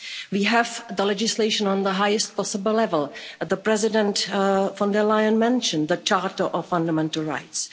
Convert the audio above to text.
We have legislation at the highest possible level, as President von der Leyen mentioned, the Charter of Fundamental Rights.